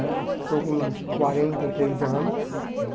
Né? Estou com quarenta e três anos né.